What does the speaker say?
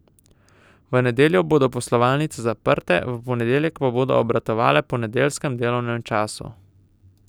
V nedeljo bodo poslovalnice zaprte, v ponedeljek pa bodo obratovale po nedeljskem delovnem času.